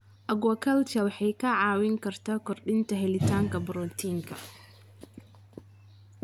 Aquaculture waxay kaa caawin kartaa kordhinta helitaanka borotiinka.